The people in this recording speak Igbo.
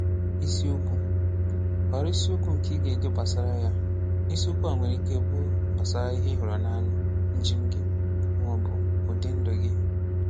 Ìsìokwù: Họrọ̀ ìsìokwù nkè ị̀ ga-edè gbasàrà yà. Ìsìokwù à nwerè ikè ịbụ̀ gbasàrà ihè ị̀ hụrụ̀ n’anyà, njem̀ gị, mà ọ̀ bụ̀ ụdị̀ ndù gị.